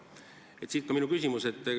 Siit minu küsimus.